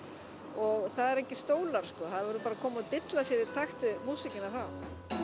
og það eru engir stólar sko það verður bara að koma og dilla sér í takt við músíkina þá